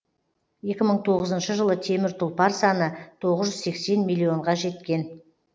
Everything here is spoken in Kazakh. екі мың тоғызыншы жылы темір тұлпар саны тоғыз жүз сексен миллионға жеткен